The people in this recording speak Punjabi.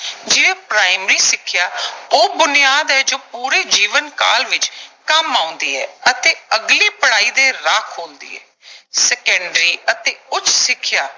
ਜਿਵੇਂ ਪ੍ਰਾਇਮਰੀ ਸਿੱਖਿਆ ਉਹ ਬੁਨਿਆਦ ਹੈ, ਜੋ ਪੂਰੇ ਜੀਵਨ ਕਾਲ ਦੇ ਵਿੱਚ ਕੰਮ ਆਉਂਦੀ ਹੈ ਅਤੇ ਅਗਲੀ ਪੜ੍ਹਾਈ ਦੇ ਰਾਹ ਖੋਲ੍ਹਦੀ ਹੈ। ਸੈਕੰਡਰੀ ਅਤੇ ਉੱਚ ਸਿੱਖਿਆ